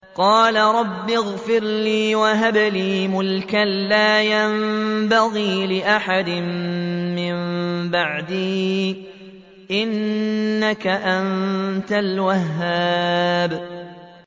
قَالَ رَبِّ اغْفِرْ لِي وَهَبْ لِي مُلْكًا لَّا يَنبَغِي لِأَحَدٍ مِّن بَعْدِي ۖ إِنَّكَ أَنتَ الْوَهَّابُ